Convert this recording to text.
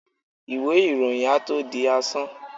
iwé iroyín à tó dí asán